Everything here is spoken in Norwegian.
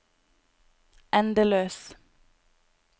endeløs